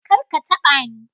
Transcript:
Kar ka taɓa ni!